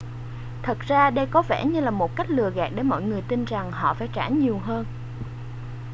đây thật ra có vẻ như là một cách lừa gạt để mọi người tin rằng họ phải trả nhiều hơn